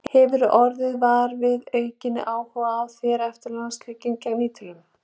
Hefurðu orðið var við aukinn áhuga á þér eftir landsleikinn gegn Ítölum?